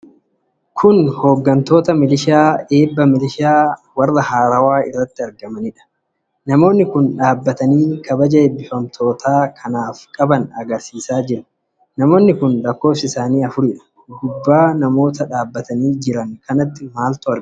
Kun hooggantoota milishaa eebba milishaa warra haarawa irratti argamaniidha. Namoonni kun dhaabatanii kabaja ebbifamtoota kanaaf qaban agarsiisaa jiru. Namoonni kun lakkoofsi isaanii afuridha. Gubbaa namoota dhaabatanii jiran kanaatti maaltu argama?